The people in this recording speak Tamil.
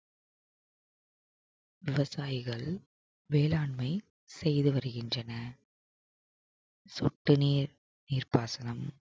விவசாயிகள் வேளாண்மை செய்து வருகின்றனர் சொட்டு நீர்~ நீர்ப்பாசனம்